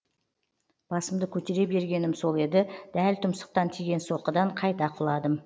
басымды көтере бергенім сол еді дәл тұмсықтан тиген соққыдан қайта құладым